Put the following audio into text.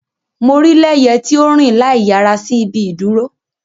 Mo rii Leye ti o nrin laiyara si ibi iduro.